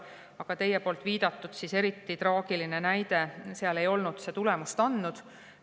Aga teie viidatud eriti traagilise näite puhul ei olnud see tulemust andnud.